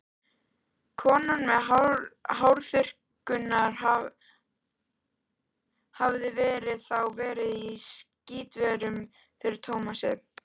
Konan með hárþurrkuna hafði þá verið í skítverkum fyrir Tómas.